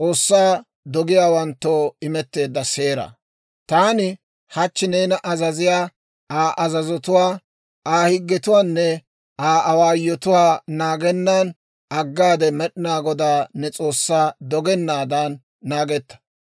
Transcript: «Taani hachchi neena azaziyaa Aa azazotuwaa, Aa higgetuwaanne Aa awaayotuwaa naagennan aggaade, Med'inaa Godaa ne S'oossaa dogennaadan, naagetta.